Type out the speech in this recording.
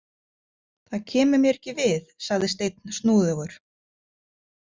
Það kemur mér ekki við, sagði Steinn snúðugur.